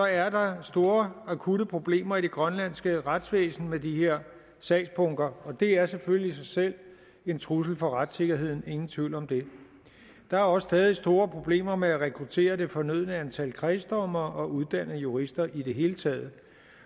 er der store akutte problemer i det grønlandske retsvæsen med de her sagsbunker det er selvfølgelig i sig selv en trussel for retssikkerheden ingen tvivl om det der er også stadig store problemer med at rekruttere det fornødne antal kredsdommere og uddanne jurister i det hele taget